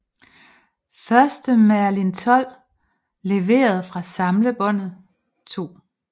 Første Merlin XII leveret fra samlebåndet 2